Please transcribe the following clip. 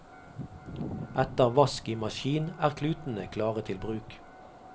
Etter vask i maskin er klutene klare til bruk.